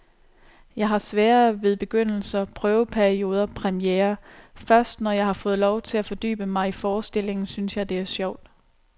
Jeg har sværere ved begyndelser, prøveperioder, premierer. Først når jeg har fået lov at fordybe mig i forestillingen, synes jeg, det er sjovt.